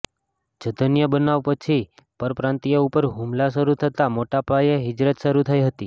જધન્ય બનાવ પછી પરપ્રાંતિયો ઉપર હુમલા શરૂ થતાં મોટાપાયે હીજરત શરૂ થઈ હતી